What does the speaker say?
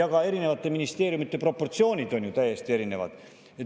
Ka ministeeriumide proportsioonid on ju täiesti erinevad.